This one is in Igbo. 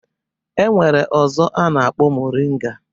E nwere ọzọ a na-akpọ moringa.